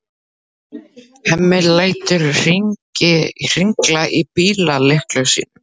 Hemmi lætur hringla í bíllyklunum sínum.